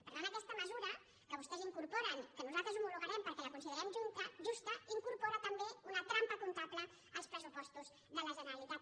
per tant aquesta mesura que vostès incorporen que nosaltres l’homologarem perquè la considerem jus·ta incorpora també una trampa comptable als pres·supostos de la generalitat